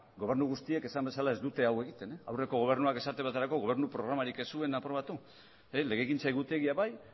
gobernu guztiek esan bezala ez dute hau egiten aurreko gobernuak esate baterako gobernu programarik ez zuen aprobatu legegintza egutegia bai